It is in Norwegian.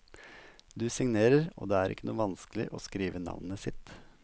Du signerer, og det er ikke noe vanskelig å skrive navnet sitt.